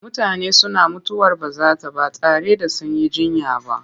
Mutane suna mutuwar bazata ba tare da sun yi jiyya ba.